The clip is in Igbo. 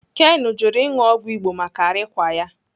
Ken jụrụ ịṅụ ọgwụ Igbo maka arịkwa ya.